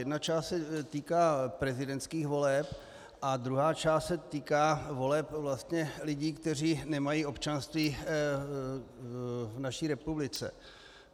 Jedna část se týká prezidentských voleb a druhá část se týká voleb vlastně lidí, kteří nemají občanství v naší republice.